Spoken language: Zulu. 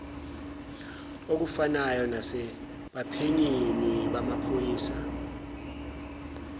okufanayo nasebaphenyini bamaphoyisa